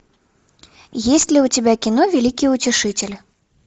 есть ли у тебя кино великий утешитель